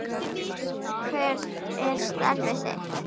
Hver er starf þitt?